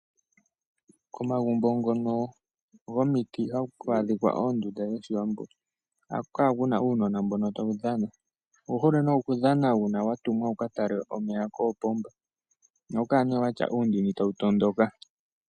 Komagumbo ngono gomiti hakwadhika oondunda dhoshiwambo, ohaku kala kuna uunona mbono tawudhana , owuhole ne okudhana una watumwa wukatale omeya kopomba nohakukala ne watya uundini tawutondoka.